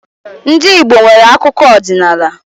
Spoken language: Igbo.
Ndị Igbo nwere akụkọ ọdinaala.